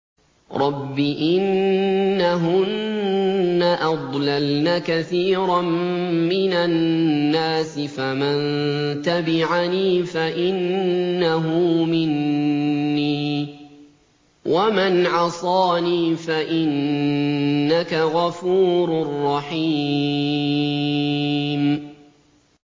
رَبِّ إِنَّهُنَّ أَضْلَلْنَ كَثِيرًا مِّنَ النَّاسِ ۖ فَمَن تَبِعَنِي فَإِنَّهُ مِنِّي ۖ وَمَنْ عَصَانِي فَإِنَّكَ غَفُورٌ رَّحِيمٌ